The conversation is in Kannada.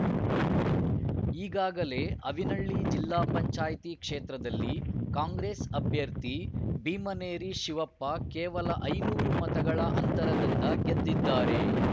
ಈಗಾಗಲೆ ಆವಿನಹಳ್ಳಿ ಜಿಲ್ಲಾ ಪಂಚಾಯ್ತಿ ಕ್ಷೇತ್ರದಲ್ಲಿ ಕಾಂಗ್ರೆಸ್‌ ಅಭ್ಯರ್ಥಿ ಭೀಮನೇರಿ ಶಿವಪ್ಪ ಕೇವಲ ಐನೂರು ಮತಗಳ ಅಂತರದಿಂದ ಗೆದ್ದಿದ್ದಾರೆ